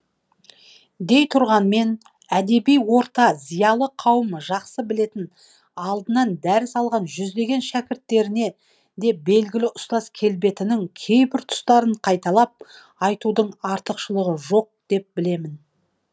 дей тұрғанмен әдеби орта зиялы қауым жақсы білетін алдынан дәріс алған жүздеген шәкірттеріне де белгілі ұстаз келбетінің кейбір тұстарын қайталап айтудың артықшылығы жоқ деп білемін